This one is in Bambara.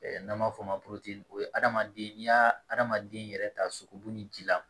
N'an b'a fɔ o ma o ye adamaden n'i y'a adamaden yɛrɛ ta sogo bu ni ji la